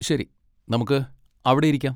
ശരി! നമുക്ക് അവിടെയിരിക്കാം.